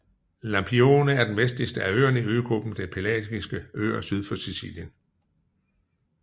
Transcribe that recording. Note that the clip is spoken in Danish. Lampione er den vestligste af øerne i øgruppen de Pelagiske øer syd for Sicilien